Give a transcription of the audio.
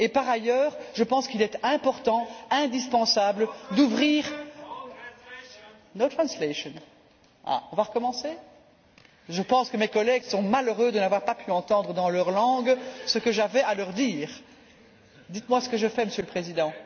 Par ailleurs, je pense qu'il est important, indispensable d'ouvrir no translation on va recommencer, je pense que mes collègues sont malheureux de n'avoir pas pu entendre dans leur langue ce que j'avais à leur dire. Dites moi ce que je fais Monsieur le Président.